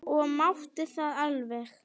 Og mátti það alveg.